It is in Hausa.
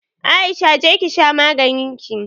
Aisha! je ki sha maganinki.